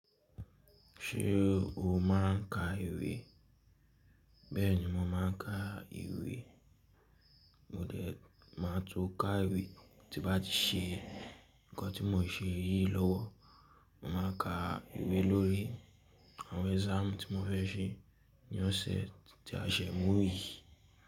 Ṣé o máà ń ka ìwé? Bẹ́ẹ̀ni mo máa ń ka ìwé. Mo dé, màá tun ká ìwé tím bá ti ṣe nǹkan tí mo ṣe í lówó. Mo máa ka ìwé lórí àwọn exam tí mo fẹ́ ṣe ní ọ̀sẹ̀ tí a ṣe mú yìí.